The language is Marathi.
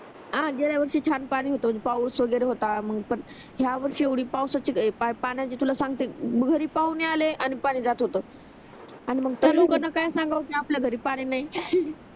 आणि गेल्या वर्षी छान पाणी होतो पाऊस वगेरे होता मग पण ह्या वर्षी एवढी पाऊसाची पाण्याची तुला सांगते घरी पाहुणे आले आणि पाणी जात होत आणि मग त्या लोकांना काय सांगाव कि आपल्या घरी पाणी नाही